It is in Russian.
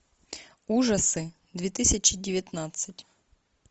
ужасы две тысячи девятнадцать